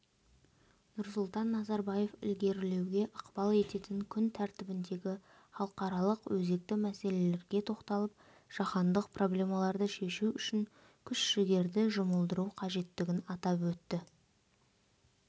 нұрсұлтан назарбаев ілгерілеуге ықпал ететін күн тәртібіндегі халықаралық өзекті мәселелерге тоқталып жаһандық проблемаларды шешу үшін күш-жігерді жұмылдыру қажеттігін атап өтті